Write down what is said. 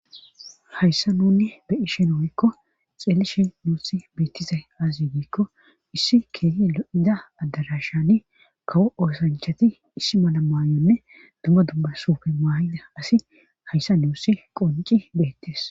hayssa nunne beyi shen woykko xeelishe nuusi beettiza azazi giikko issi keeyi o7ida addarashani kawo oosanchati issi mala mayonne dumma dumma sufe maayida asi hayssa nuussi qonci beettes